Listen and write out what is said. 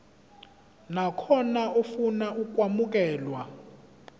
nakhona ofuna ukwamukelwa